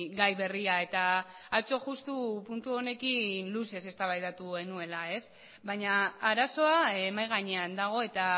gai berria eta atzo justu puntu honekin luzez eztabaidatu genuela baina arazoa mahai gainean dago eta